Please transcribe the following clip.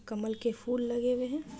कमल के फूल लगे हुए है।